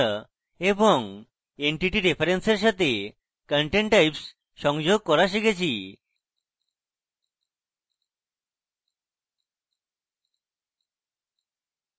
user group fields জোড়া এবং entity reference এর সাথে content types সংযোগ করা শিখেছি